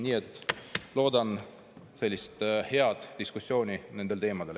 Nii et loodan sellist head diskussiooni nendel teemadel.